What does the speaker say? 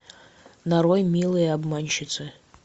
нарой милые обманщицы